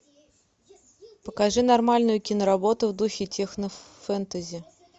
покажи нормальную киноработу в духе технофэнтези